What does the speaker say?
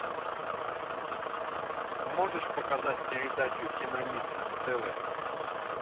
можешь показать передачу киномикс на тв